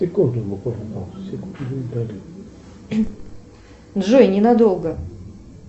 джой ненадолго